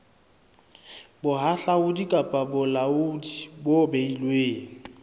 bohahlaudi kapa bolaodi bo beilweng